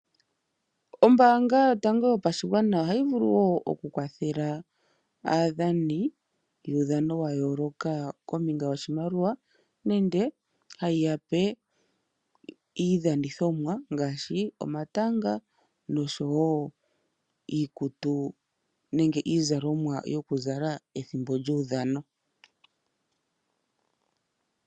Ombaanga yotango yopashigwana ohayi vulu wo oku kwathela aadhani yuudhano wa yooloka kombinga yoshimaliwa nenge hayi yape iidhanithomwa ngaashi omatanga noshowo iikutu nenge iizalomwa yoku zala pethimbo lyuudhano.